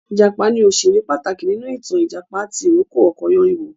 Ìjàpá ni òṣèré pàtàkì nínú ìtàn Ìjàpá tì rókò ọkọ Yáníbo